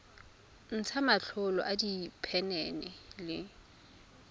ntsha matlolo a diphenene le